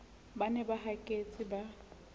ba ne ba haketse ba